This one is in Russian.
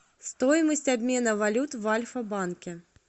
стоимость обмена валют в альфа банке